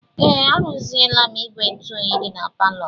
Ee, arụziela m ígwè ntụoyi dị na palọ m.